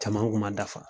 Caman kun ma dafa